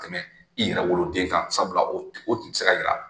Tɛmɛ i yɛrɛ woloden kan sabula o o tun tɛ se ka yira.